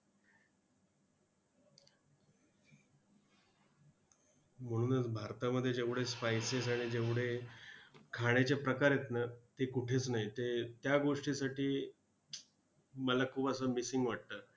म्हणूनच भारतामध्ये जेवढे spices आणि जेवढे खाण्याचे प्रकार आहे ना ते कुठेच नाहीत ते त्या गोष्टीसाठी मला खूप असं , missing वाटतं.